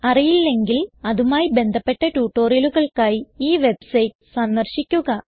അറിയില്ലെങ്കിൽ അതുമായി ബന്ധപ്പെട്ട ട്യൂട്ടോറിയലുകൾക്കായി ഈ വെബ്സൈറ്റ് സന്ദർശിക്കുക